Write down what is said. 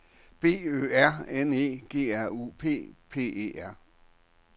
B Ø R N E G R U P P E R